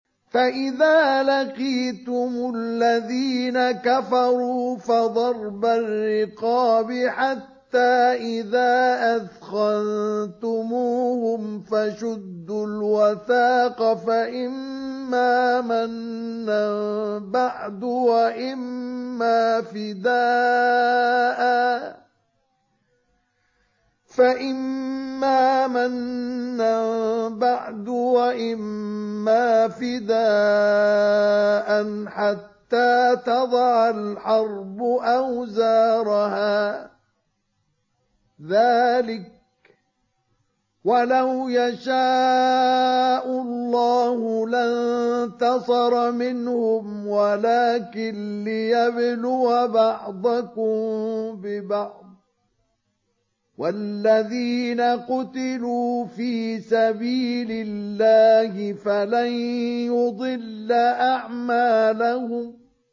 فَإِذَا لَقِيتُمُ الَّذِينَ كَفَرُوا فَضَرْبَ الرِّقَابِ حَتَّىٰ إِذَا أَثْخَنتُمُوهُمْ فَشُدُّوا الْوَثَاقَ فَإِمَّا مَنًّا بَعْدُ وَإِمَّا فِدَاءً حَتَّىٰ تَضَعَ الْحَرْبُ أَوْزَارَهَا ۚ ذَٰلِكَ وَلَوْ يَشَاءُ اللَّهُ لَانتَصَرَ مِنْهُمْ وَلَٰكِن لِّيَبْلُوَ بَعْضَكُم بِبَعْضٍ ۗ وَالَّذِينَ قُتِلُوا فِي سَبِيلِ اللَّهِ فَلَن يُضِلَّ أَعْمَالَهُمْ